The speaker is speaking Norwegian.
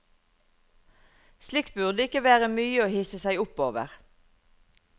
Slikt burde ikke være mye å hisse seg opp over.